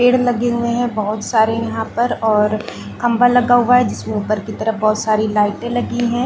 पेड़ लगे हुए हैं बहुत सारे यहाँ पर और खम्बा लगा हुआ है जिसमें उपर की तरफ बहुत सारी लाइटे लगी हैं ।